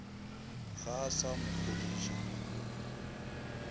ga a sa mo kgodiša